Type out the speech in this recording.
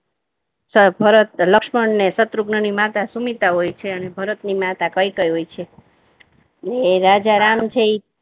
ભરત, લક્ષ્મણ અને શત્રુઘ્ન ની માતા સુમિત્રા હોય છે અને ભરતની માતા કૈકેયી હોય છે એ રાજારામ છેએ